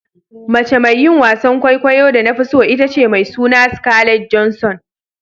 Mace mai yin wasan kwaikwayo da na fi so ita ce mai suna "Scarlet Johansson."